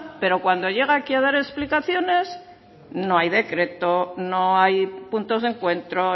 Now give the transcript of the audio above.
pero cuando llega aquí a dar explicaciones no hay decreto no hay puntos de encuentro